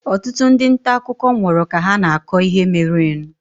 Ọtụtụ ndị nta akụkọ nwụrụ ka ha na-akọ ihe merenụ.